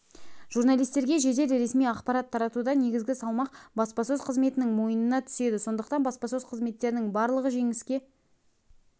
журналистерге жедел ресми ақпарат таратуда негізгі салмақ баспасөз қызметінің мойнына түседі сондықтан баспасөз қызметтерінің барлығы жеңіске